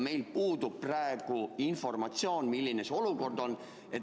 Meil puudub praegu informatsioon, milline olukord on.